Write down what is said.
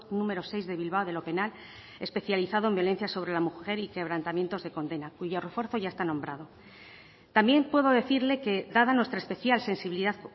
número seis de bilbao de lo penal especializado en violencia sobre la mujer y quebrantamientos de condena cuyo refuerzo ya está nombrado también puedo decirle que dada nuestra especial sensibilidad